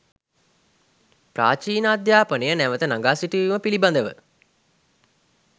ප්‍රාචීන අධ්‍යාපනය නැවත නඟා සිටුවීම පිළිබඳව